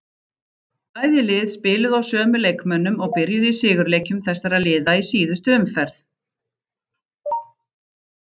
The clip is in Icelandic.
Bæði lið spiluðu á sömu leikmönnum og byrjuðu í sigurleikjum þessara liða í síðustu umferð.